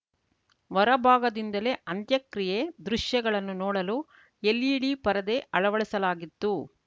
ಹೊರಭಾಗದಿಂದಲೇ ಅಂತ್ಯಕ್ರಿಯೆ ದೃಶ್ಯಗಳನ್ನು ನೋಡಲು ಎಲ್‌ಇಡಿ ಪರದೆ ಅಳವಡಿಸಲಾಗಿತ್ತು